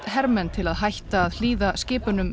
hermenn til að hætta að hlýða skipunum